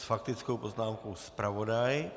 S faktickou poznámkou zpravodaj.